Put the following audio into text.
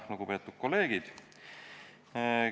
Lugupeetud kolleegid!